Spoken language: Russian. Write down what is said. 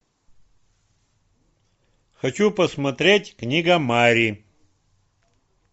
хочу посмотреть книга мари